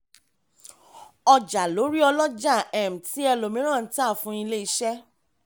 ọjà lórí ọlọ́jà um ti ẹlòmíràn n ta fún ilé-iṣẹ́.